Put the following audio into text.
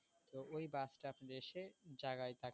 তো ওই bus টা আপনার এসে জায়গায় তাকে